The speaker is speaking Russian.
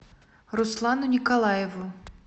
руслану николаеву